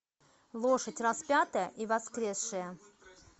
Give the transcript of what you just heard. лошадь распятая и воскресшая